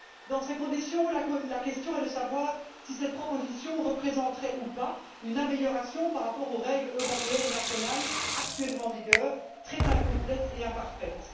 Dans ces conditions, la question est de savoir si ces propositions représenteraient ou pas une amélioration par rapport aux règles européennes et nationales, actuellement en vigueur, très incomplètes et imparfaites.